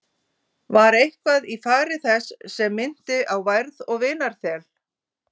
Var eitthvað í fari þess sem minnti á værð og vinarþel?